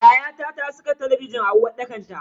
Yayata ta saka talabijin a uwarɗakar ta.